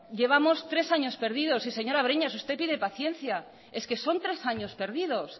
llevamos tres años perdidos y señora breñas usted tiene paciencia es que son tres años perdidos